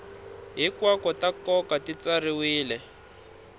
hinkwato ta nkoka ti tsariwile